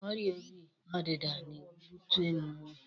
Ọrịa obi ọdịda na-ebute ọnwụ.